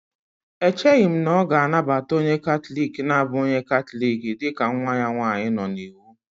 Echeghị m na ọ ga-anabata onye katọlik na-abụghị onye Katọlik dị ka nwa ya nwanyị nọ n'iwu